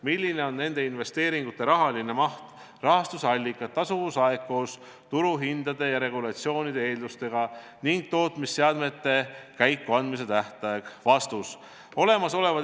Milline on nende investeeringute rahaline maht, rahastuse allikad, tasuvusaeg koos turuhindade ja regulatsioonide eeldustega ning tootmisseadmete käikuandmise tähtaeg?